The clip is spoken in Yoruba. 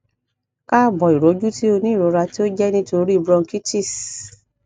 kaabo iroju ti o ni irora ti o jẹ nitori bronchitis